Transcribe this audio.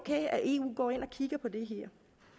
går ind og kigger på det her